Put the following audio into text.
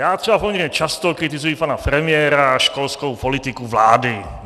Já třeba poměrně často kritizuji pana premiéra a školskou politiku vlády.